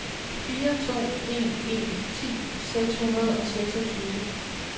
fire to en en ti seks hundrede og seksogtyve